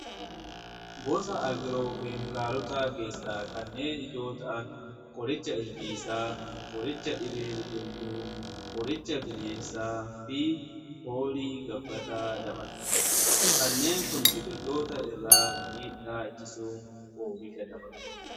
Gosa agiroo keemikaalotaa keessaa kanneen ijoo ta'an, qoricha ilbiisaa, qoricha dhibee biqiltuu, qoricha bineensaa fi foolii gabbataa dabala. Kanneen kun biqiltoota irraa miidhaa ittisuun oomisha dabalu.